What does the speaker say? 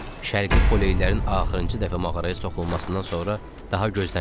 Şərqi Poleylərin axırıncı dəfə mağaraya soxulmasından sonra daha gözləməyib.